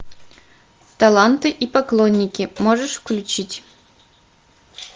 таланты и поклонники можешь включить